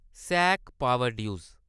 ऐस्सएसी power ड्यूज़